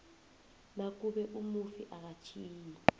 nakube umufi akatjhiyi